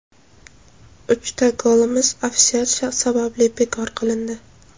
uchta golimiz ofsayd sababli bekor qilindi.